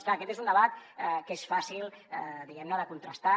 clar aquest és un debat que és fàcil diguem ne de contrastar